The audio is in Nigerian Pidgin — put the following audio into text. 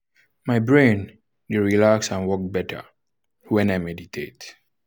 my brain dey relax and work better when i meditate.